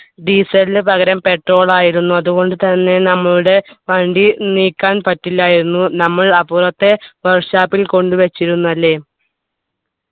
diesel നു പകരം petrol ആയിരുന്നു അതുകൊണ്ടു തന്നെ നമ്മളുടെ വണ്ടി നീക്കാൻ പറ്റില്ല എന്ന് നമ്മൾ അപ്പോഴത്തെ work shop ൽ കൊണ്ട് വെച്ചിരുന്നു അല്ലെ